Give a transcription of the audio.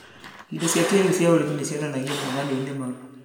Indo cia kĩrĩu cia ũrĩmi nĩcionanagio monanio-inĩ mau